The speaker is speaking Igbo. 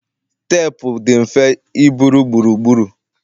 teepu dị mfe iburu gburugburu